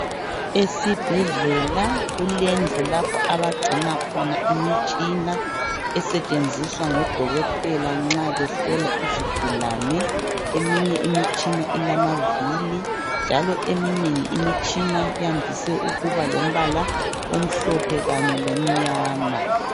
Esibhedlela kulendlu lapho abagcina khona imitshina esetshenziswa ngoDokotela nxa behlola izigulane. Eminye imitshina ilamavili njalo eminengi imitshina yandise ukuba lombala omhlophe kanye lomnyama.